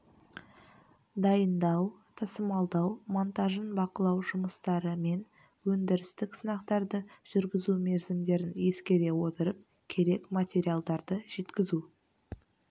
дайындау тасымалдау монтажын бақылау жұмыстары мен өндірістік сынақтарды жүргізу мерзімдерін ескере отырып керек материалдарды жеткізу